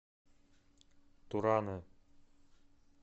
туране